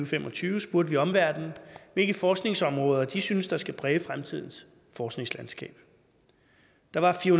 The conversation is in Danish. fem og tyve spurgte vi omverdenen hvilke forskningsområder de synes skal præge fremtidens forskningslandskab der var fire